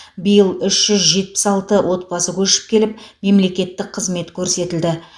биыл үш жүз жетпіс алты отбасы көшіп келіп мемлекеттік қызмет көрсетілді